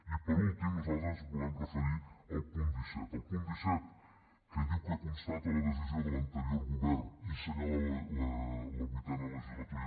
i per últim nosaltres ens volem referir al punt disset al punt disset que diu que constata la decisió de l’anterior govern i senyala la vuitena legislatura